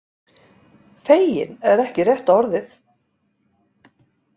Feginn er ekki rétta orðið.